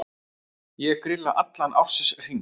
Ég grilla allan ársins hring.